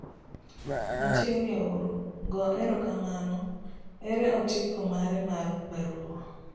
Machiegni uru, go ero kamano ere otiko mare mar baruwa.